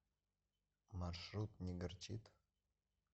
маршрут не горчит